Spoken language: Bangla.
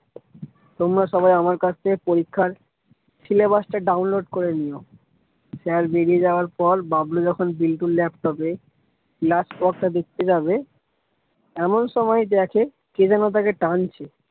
তোমরা সবাই আমার কাছ থেকে পরীক্ষার syllabus টা download করে নিও। sir বেরিয়ে যাওয়ার পর বাবলু যখন বিল্টুর laptop এ class work টা দেখতে যাবে এমন সময় দেখে কে যেনো তাকে টানছে।